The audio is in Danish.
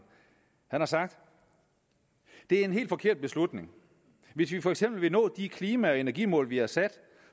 har sagt det er en helt forkert beslutning hvis vi for eksempel vil nå de klima og energimål vi har sat